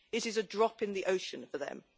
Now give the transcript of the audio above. It is a drop in the ocean for them.